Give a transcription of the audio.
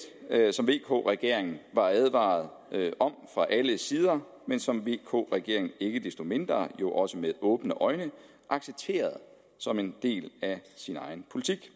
som vk regeringen var advaret om fra alle sider men som vk regeringen ikke desto mindre også med åbne øjne accepterede som en del af sin egen politik